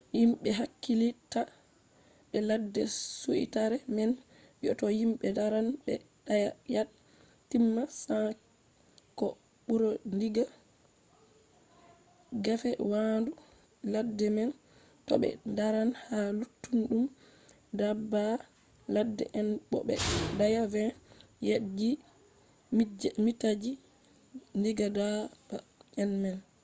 himɓe hakkilitta be ladde suitare man wi to himɓe daran ɓe daya yad/mita 100 ko ɓura diga gefe waandu ladde man to ɓe daran ha luttuɗum daabba ladde en bo ɓe daaya 25 yadji/mitaji diga daaba en man